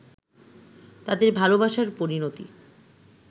তাদের ভালোবাসার পরিনতি